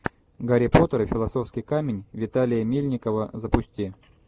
гарри поттер и философский камень виталия мельникова запусти